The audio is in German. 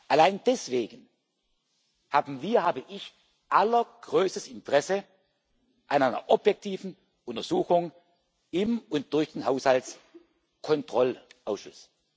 Allein deswegen haben wir, habe ich allergrößtes Interesse an einer objektiven Untersuchung im und durch den Haushaltskontrollausschuss.